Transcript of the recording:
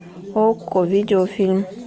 окко видеофильм